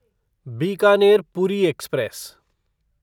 Bikaner Puri express